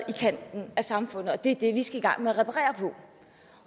kanten af samfundet og det er det vi skal i gang med